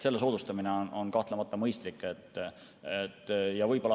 Selle soodustamine on kahtlemata mõistlik.